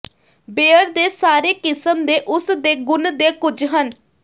beer ਦੇ ਸਾਰੇ ਕਿਸਮ ਦੇ ਉਸ ਦੇ ਗੁਣ ਦੇ ਕੁਝ ਹਨ